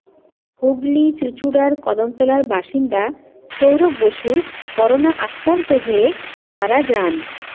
হুগলি চুঁচুড়ার কদমতলার বাসিন্দা সৌরভ বসুর করোনা আক্রান্ত হয়ে মারা যান